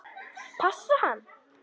Passa hann?